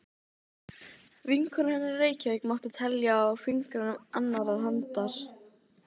Ekki skilja mig hér eina eftir!